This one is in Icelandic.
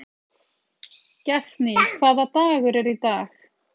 Gestný, hvaða dagur er í dag?